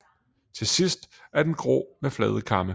Til sidst er den grå med flade kamme